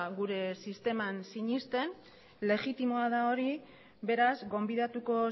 gure sisteman sinesten legitimoa da hori beraz gonbidatuko